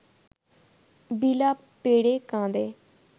বিলাপ পেড়ে কাঁদে